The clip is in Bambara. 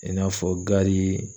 I n'a fɔ gari.